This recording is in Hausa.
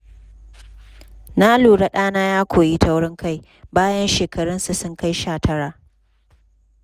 Na lura ɗana ya koyi taurin kai bayan shekarunsa sun kai sha tara.